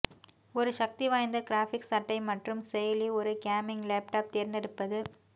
ஒரு சக்திவாய்ந்த கிராபிக்ஸ் அட்டை மற்றும் செயலி ஒரு கேமிங் லேப்டாப் தேர்ந்தெடுப்பது